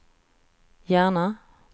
Järna